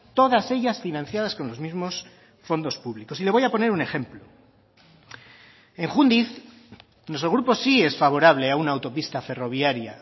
todas ellas financiadas con los mismos fondos públicos y le voy a poner un ejemplo en jundiz nuestro grupo sí es favorable a una autopista ferroviaria